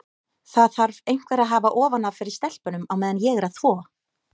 Það þarf einhver að hafa ofan af fyrir stelpunum á meðan ég er að þvo.